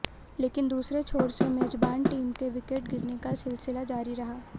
लेकिन दूसरे छोर से मेजबान टीम के विकेट गिरने का सिलसिला जारी रहा